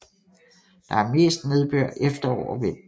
Der er mest nedbør efterår og vinter